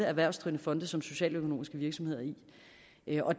erhvervsdrivende fonde som socialøkonomiske virksomheder i